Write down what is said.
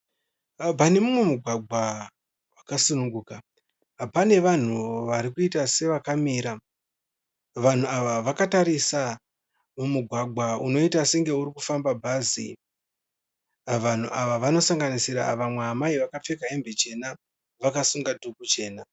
Pane mumwe mugwagwa wakasununguka pane vanhu vari kuita sevakamira. Vanhu ava vakatarisa mumugwagwa unoita senge uri kufamba bhazi. Vanhu ava vanosanganisira vamwe amai vakapfeka hembe chena vakasungwa dhuku chena.